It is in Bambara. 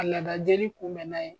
Ka laada jeli kunbɛn n'a ye